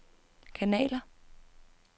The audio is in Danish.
kanaler